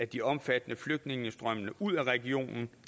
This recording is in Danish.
de omfattende flygtningestrømme ud af regionen